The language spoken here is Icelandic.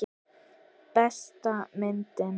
Besta myndin.